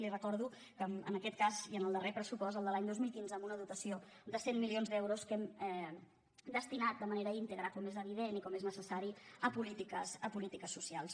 li recordo que en aquest cas i en el darrer pressupost el de l’any dos mil quinze una dotació de cent milions d’euros que hem destinat de manera íntegra com és evident i com és necessari a polítiques socials